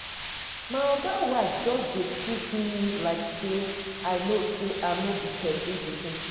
My oga wife just dey treat me like sey I no sey I no be pesin pikin.